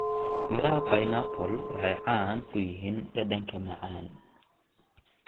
Midhaha pineappla waxay caan ku yihiin dhadhanka macaan.